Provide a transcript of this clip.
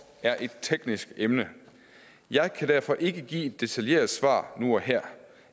er et teknisk emne jeg kan derfor ikke give et detaljeret svar nu og her